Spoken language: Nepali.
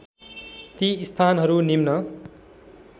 ती स्थानहरू निम्न